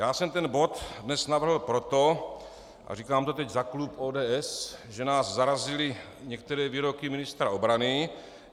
Já jsem ten bod dnes navrhl proto - a říkám to teď za klub ODS -, že nás zarazily některé výroky ministra obrany.